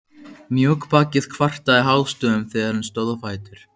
Mjóbakið kvartaði hástöfum þegar hann stóð á fætur.